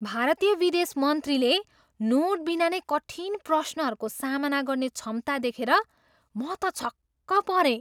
भारतीय विदेश मन्त्रीले नोटबिना नै कठिन प्रश्नहरूको सामना गर्ने क्षमता देखेर म त छक्क परेँ।